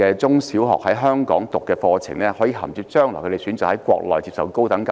他們在香港就讀中小學課程，是否可銜接將來回國內接受高等教育？